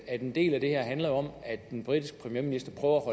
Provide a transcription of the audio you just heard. at en del af det her handler om at den britiske premierminister prøver at